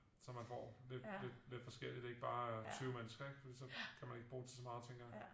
Så man får lidt forskelligt ikke bare 20 mennesker ikke for så kan man ikke bruge til så meget tænker jeg